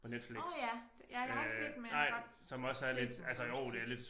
Nåh ja ja jeg har ikke set den men jeg har godt set den eller hvad man skal sige